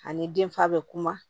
Ani den fa bɛ kuma